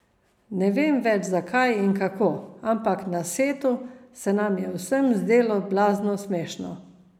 Ne vem več zakaj in kako, ampak na setu se nam je vsem zdelo blazno smešno.